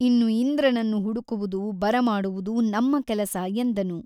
ಇನ್ನು ಇಂದ್ರನನ್ನು ಹುಡುಕುವುದು ಬರಮಾಡುವುದು ನಮ್ಮ ಕೆಲಸ ಎಂದನು.